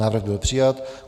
Návrh byl přijat.